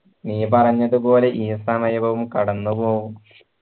നീ പറഞ്ഞത് പോലെ ഈ സമയവും കടന്ന് പോകും